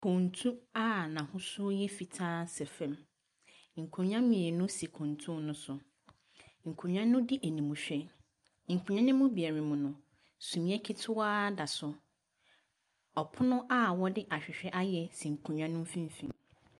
Kuntu a n'ahosuo yɛ fitaa sɛ fam. Nkonnwa mmienu si kuntu no so. Nkonnwa no di animhwɛ. Nkonnwa no mu biara mu no, sumiiɛ ketewa da so. Ɔpono a wɔde ahwehwɛ ayɛ si nkonnwa no mfimfini.